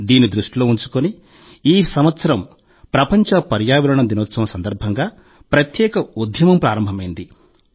దీన్ని దృష్టిలో ఉంచుకుని ఈ సంవత్సరం ప్రపంచ పర్యావరణ దినోత్సవం సందర్భంగా ప్రత్యేక ఉద్యమం ప్రారంభమైంది